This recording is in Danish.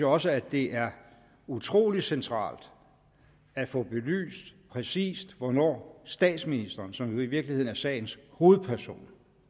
også det er utrolig centralt at få belyst præcis hvornår statsministeren som jo i virkeligheden er sagens hovedperson